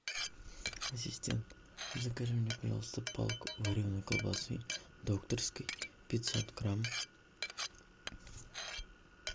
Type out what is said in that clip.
ассистент закажи мне пожалуйста палку вареной колбасы докторской пятьсот грамм